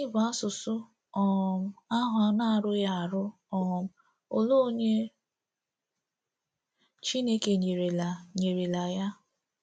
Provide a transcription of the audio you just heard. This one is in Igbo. Gịnị bụ asụsụ um ahụ na-arughị arụ, um ole onye Chineke nyerela nyerela ya um?